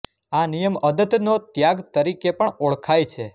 આ નિયમ અદત્તનો ત્યાગ તરીકે પણ ઓળખાય છે